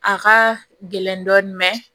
A ka gɛlɛn dɔɔnin